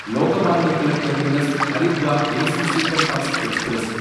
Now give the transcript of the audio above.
Lokmanya Tilak Terminus Haridwar AC Superfast express